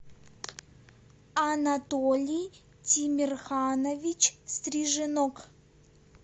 анатолий тимерханович стриженок